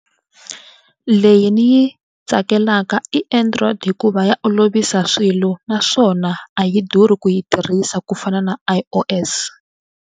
Leyi ni yi tsakelaka i Android hikuva ya olovisa swilo naswona a yi durhi ku yi tirhisa ku fana na I_O_S.